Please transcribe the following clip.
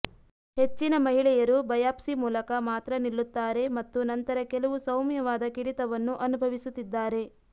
ಹೆಚ್ಚಿನ ಮಹಿಳೆಯರು ಬಯಾಪ್ಸಿ ಮೂಲಕ ಮಾತ್ರ ನಿಲ್ಲುತ್ತಾರೆ ಮತ್ತು ನಂತರ ಕೆಲವು ಸೌಮ್ಯವಾದ ಕಿಡಿತವನ್ನು ಅನುಭವಿಸುತ್ತಿದ್ದಾರೆ